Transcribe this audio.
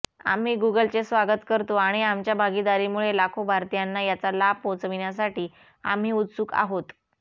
आम्ही गुगलचे स्वागत करतो आणि आमच्या भागीदारीमुळे लाखो भारतीयांना याचा लाभ पोचविण्यासाठी आम्ही उत्सुक आहोत